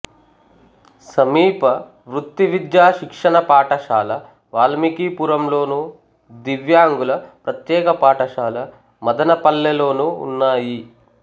సమీప వృత్తి విద్యా శిక్షణ పాఠశాల వాల్మీకిపురం లోను దివ్యాంగుల ప్రత్యేక పాఠశాల మదనపల్లె లోనూ ఉన్నాయి